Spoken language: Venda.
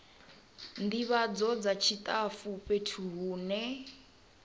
ndivhadzo dza tshitafu fhethu hune